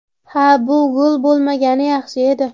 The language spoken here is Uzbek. Ha, bu gol bo‘lmagani yaxshi edi.